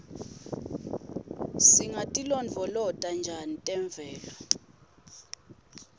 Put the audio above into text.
singatilondvolota njani temvelo